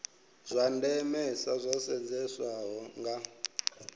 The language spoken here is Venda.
zwa ndemesa zwo sedzeswaho nga